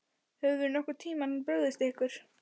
Höfum við nokkurn tímann brugðist ykkur?